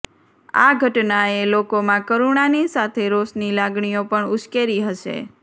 આ ઘટનાએ લોકોમાં કરુણાની સાથે રોષની લાગણીઓ પણ ઉશ્કેરી હશે